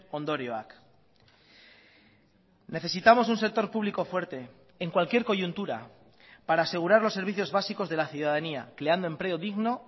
ondorioak necesitamos un sector público fuerte en cualquier coyuntura para asegurar los servicios básicos de la ciudadanía creando empleo digno